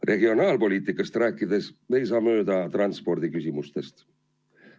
Regionaalpoliitikast rääkides ei saa mööda transpordiküsimustest.